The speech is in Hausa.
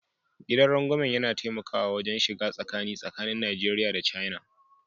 Gidan rangwamen yana taimakawa wajen shiga tsakani tsakanin Najeriya da China